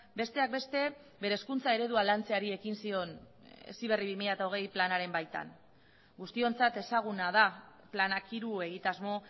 besteak beste bere hezkuntza eredua lantzeari ekin zion heziberri bi mila hogei planaren baitan guztiontzat ezaguna da planak hiru egitasmo